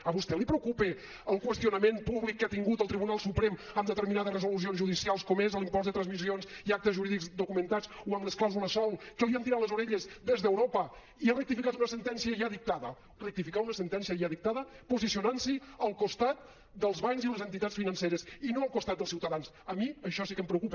a vostè li preocupa el qüestionament públic que ha tingut el tribunal suprem amb determinades resolucions judicials com és l’impost de transmissions i actes jurídics documentats o amb les clàusules sòl que li han tirat les orelles des d’europa i ha rectificat una sentència ja dictada rectificar una sentència ja dictada posicionant s’hi al costat dels bancs i les entitats financeres i no al costat dels ciutadans a mi això sí que em preocupa